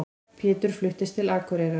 Pétur fluttist til Akureyrar.